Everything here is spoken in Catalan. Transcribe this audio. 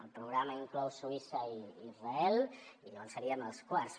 el programa inclou suïssa i israel i llavors seríem els quarts